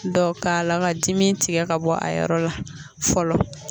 Dɔ k'a la ka dimi tigɛ ka bɔ a yɔrɔ la fɔlɔ.